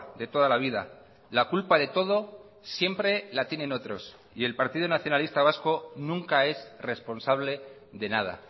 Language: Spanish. de toda la vida la culpa de todo siempre la tienen otros y el partido nacionalista vasco nunca es responsable de nada